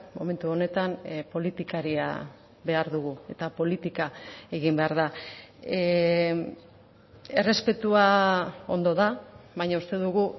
momentu honetan politikaria behar dugu eta politika egin behar da errespetua ondo da baina uste dugu